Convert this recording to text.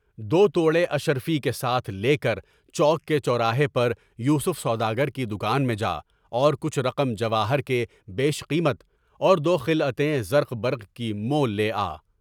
دو ٹوڑے اشرفی کے ساتھ لے کر چوک کے چوراہے پر یوسف سوداگر کی دکان میں جاؤ اور کچھ رقم جواہر کے بیش قیمت اور دو خلعتین زرق برق کی مول لے آؤ۔